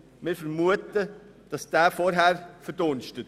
Wir vermuten, dass er vorher verdunstet.